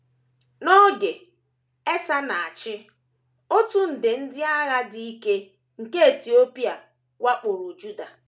N’oge Esa na - achị, otu nde ndị agha dị ike nke Etiopia wakporo Juda.